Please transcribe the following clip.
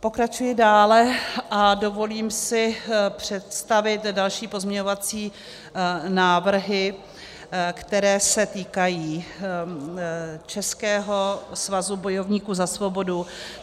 Pokračuji dále a dovolím si představit další pozměňovací návrhy, které se týkají Českého svazu bojovníků za svobodu.